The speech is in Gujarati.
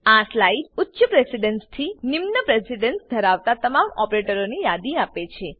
આ સ્લાઇડ ઉચ્ચ પ્રેસીડન્સથી નિમ્ન પ્રેસીડન્સ ધરાવતા તમામ ઓપરેટરોની યાદી આપે છે